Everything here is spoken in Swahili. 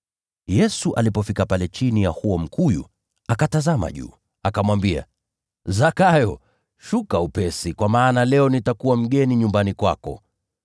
Yesu alipofika pale chini ya huo mkuyu, akatazama juu, akamwambia, “Zakayo, shuka upesi, kwa maana leo nitakuwa mgeni nyumbani kwako!”